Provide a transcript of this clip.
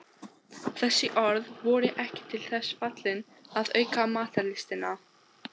Þessi orð voru ekki til þess fallin að auka matarlystina.